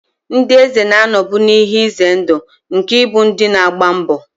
Ndị eze na-anọbu n'ihe ize ndụ nke ịbụ ndị na-agba mbọ.